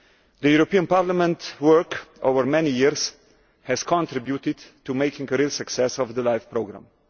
The European Parliament's work over many years has contributed to making a real success of the LIFE programme.